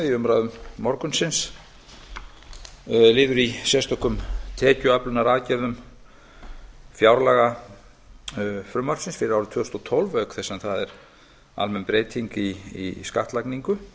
í umræðum morgunsins liður í sérstökum tekjuöflunaraðgerðum fjárlagafrumvarpsins fyrir árið tvö þúsund og tólf auk þess sem það er almenn breyting í skattlagningu